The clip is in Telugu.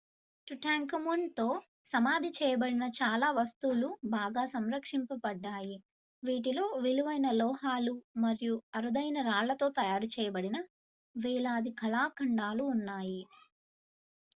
టుటాంఖమూన్ తో సమాధి చేయబడిన చాలా వస్తువులు బాగా సంరక్షించబడ్డాయి వీటిలో విలువైన లోహాలు మరియు అరుదైన రాళ్ళతో తయారు చేయబడిన వేలాది కళాఖండాలు ఉన్నాయి